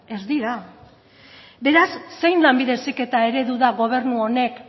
ez dira beraz zein lanbide heziketa eredu da gobernu honek